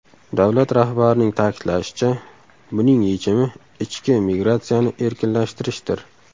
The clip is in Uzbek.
Davlat rahbarining ta’kidlashicha, buning yechimi ichki migratsiyani erkinlashtirishdir.